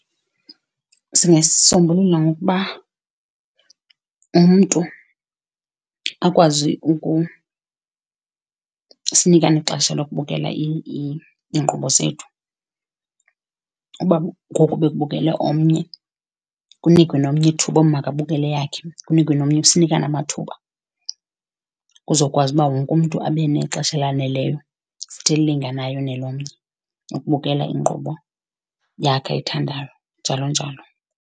Singayisombulula ngokuba umntu akwazi sinikane ixesha lokubukela iinkqubo zethu. Uba ngoku bekubukele omnye kunikwe nomnye ithuba lokuba makabukele eyakhe, kunikwe nomnye. Sinikane amathuba kuzokwazi uba wonke umntu abe nexesha elaneleyo, futhi elilinganayo nelomnye ukubukela inkqubo yakhe ayithandayo, njalo njalo.